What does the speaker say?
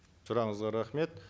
сұрағыңызға рахмет